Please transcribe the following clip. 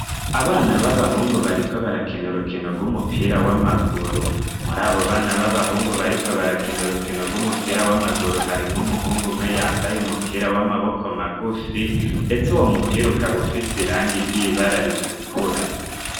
Abana b'abahungu bariko barakina urukino gw'umupira w'amaguru muri abo bana b'abahungu bariko barakina urukino gw'umupira w'amaguru harimwo umuhungu umwe yambaye umupira w'amaboko magufi, ndetse uwo mupira ukaba ufise irangi ry'ibara ritukura.